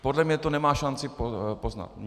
Podle mě to nemá šanci poznat.